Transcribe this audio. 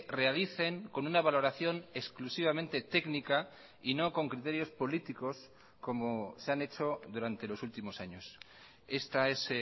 realicen con una valoración exclusivamente técnica y no con criterios políticos como se han hecho durante los últimos años esta es